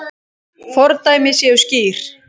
Fordæmi séu skýr.